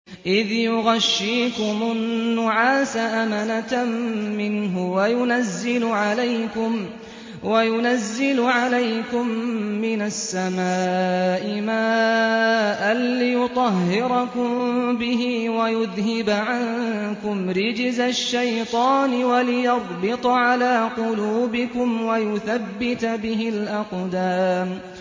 إِذْ يُغَشِّيكُمُ النُّعَاسَ أَمَنَةً مِّنْهُ وَيُنَزِّلُ عَلَيْكُم مِّنَ السَّمَاءِ مَاءً لِّيُطَهِّرَكُم بِهِ وَيُذْهِبَ عَنكُمْ رِجْزَ الشَّيْطَانِ وَلِيَرْبِطَ عَلَىٰ قُلُوبِكُمْ وَيُثَبِّتَ بِهِ الْأَقْدَامَ